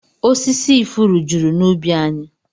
Osisi ifuru juru n'ubi anyị